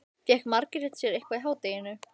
Fékk Margrét sér eitthvað í hádeginu?